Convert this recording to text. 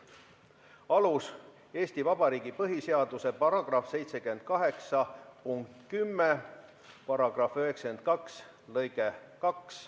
Alus: Eesti Vabariigi põhiseaduse § 78 punkt 10 ja § 92 lõige 2.